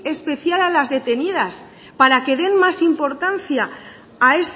especial a las detenidas para que den más importancia a